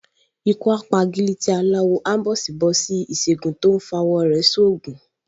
Ikú p’agílítí aláwọ, áḿbọ̀sìbọ̀sí Ìsègùn tó f’awọ̀ rẹ̀ ṣ’oògùn